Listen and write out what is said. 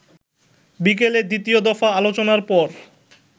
বিকেলে দ্বিতীয় দফা আলোচনার পর